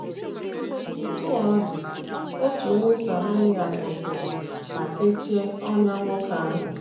Otú ọ dị, otu onye Sameria kwụsịrị ma kechie ọnyá nwoke ahụ.